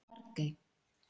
Bjargey